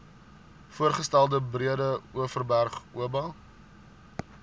voorgestelde breedeoverberg oba